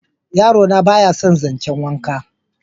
yaro na ba ya san zancen wanka